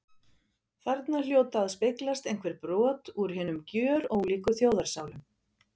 Þarna hljóta að speglast einhver brot úr hinum gjörólíku þjóðarsálum.